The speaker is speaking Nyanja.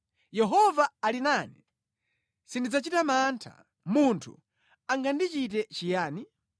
Yehova ali nane; sindidzachita mantha. Munthu angandichite chiyani?